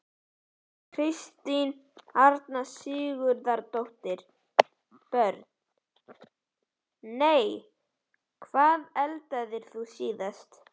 Kristín Arna Sigurðardóttir Börn: Nei Hvað eldaðir þú síðast?